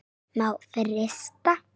Má frysta.